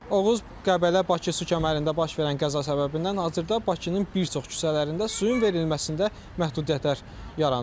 Oğuz-Qəbələ-Bakı su kəmərində baş verən qəza səbəbindən hazırda Bakının bir çox küçələrində suyun verilməsində məhdudiyyətlər yaranıb.